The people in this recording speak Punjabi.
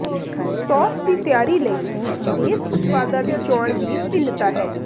ਸਾਸ ਦੀ ਤਿਆਰੀ ਲਈ ਬੇਸ ਉਤਪਾਦਾਂ ਦੀ ਚੋਣ ਵੀ ਭਿੰਨਤਾ ਹੈ